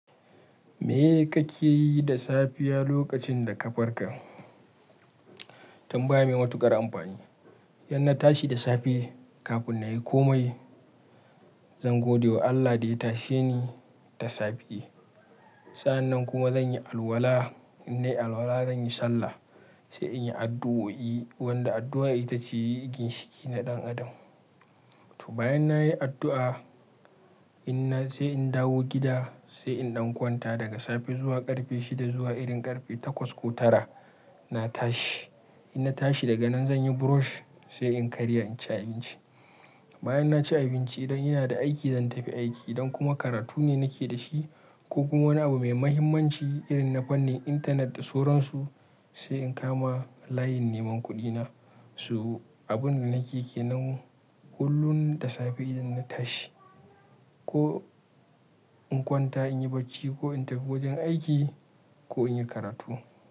Meye kake yi da safiya lokacin da ka farka? Tambaya me matuƙar amfani. Inna tashi da safe kafin na yi komai. Zan gode wa Allah da ya tashe ni da safe. Sa'annan kuma zan yi alwala, in na yi alwala zan yi sallah, sai in yi addu'o'i wanda addu'a ita ce yi ginshiki na ɗan adam. To bayan na yi addu'a, inna sai in dawo gida sai in ɗan kwanta daga safe zuwa ƙarfe shida zuwa irin ƙarfe takwas ko tara na tashi. Inna tashi daga nan zan yi brush, sai in karya in ci abinci. Bayan na ci abinci idan ina da aiki zan tafi aiki, idan kuma karatu ne nake da shi ko kuma wani abu me mahimmanci irin na fannin intanet da soran su sai in kama layin neman kuɗina. To abun da nake kenan kullun da safe idan na tashi ko in kwanta in yi bacci, ko in tafi wajen aiki, ko in yi karatu.